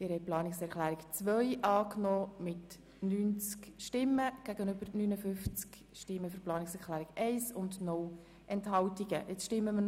Sie haben die Planungserklärung 2 angenommen mit 77 Ja- gegen 72 Nein-Stimmen bei 0 Enthaltungen.